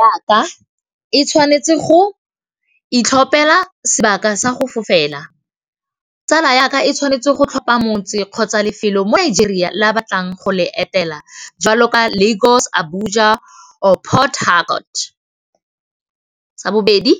Yaka e tshwanetse go itlhophela sebaka sa go fofela tsala yaka e tshwanetse go tlhopha motse kgotsa lefelo mo Nigeria le a batlang go le etela jwalo ka Lago's, Abuja, or Port Harbort, sa bobedi